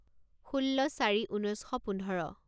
ষোল্ল চাৰি ঊনৈছ শ পোন্ধৰ